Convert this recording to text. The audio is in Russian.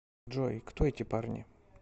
джой кто эти парни